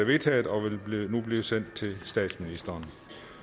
vedtaget og vil nu blive sendt til statsministeren